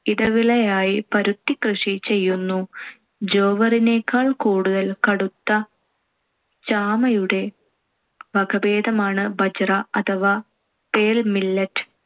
ഇടവിളയായി പരുത്തികൃഷി ചെയ്യുന്നു. ജോവറിനേക്കാൾ കൂടുതൽ കടുത്ത ചാമയുടെ വകഭേദമാണ്‌ ബജ്ര അഥവാ pearl millet.